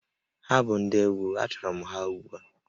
Ha bụ ndị egwu, achọrọ m ha ugbu a!